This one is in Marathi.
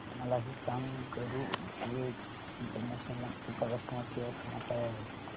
मला हे सांग गरुडवेग इंटरनॅशनल नागपूर चा कस्टमर केअर क्रमांक काय आहे